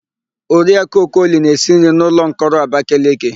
Oriakụ Okoli na-esi nri na ụlọmkọrọ Abakeleke.